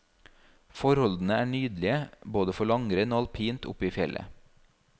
Forholdene er nydelige både for langrenn og alpint oppe i fjellet.